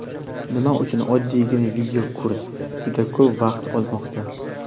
Nima uchun "oddiygina video kurs" juda ko‘p vaqt olmoqda?.